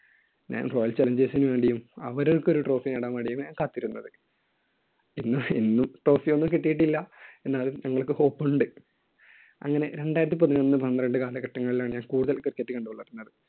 ഞാൻ Royal Challengers നു വേണ്ടിയും അവർക്ക് ഒരു trophy നേടാൻ വേണ്ടിയുമാണ് കാത്തിരുന്നത്. എന്നും ഇന്നും trophy ഒന്നും കിട്ടിയിട്ടില്ല. എന്നാലും ഞങ്ങൾക്ക് hope ഉണ്ട്. അങ്ങനെ രണ്ടായിരത്തി പതിനൊന്ന് പന്ത്രണ്ട് കാലഘട്ടങ്ങളിലാണ് ഞാൻ കൂടുതൽ cricket കണ്ടു വളർന്നത്.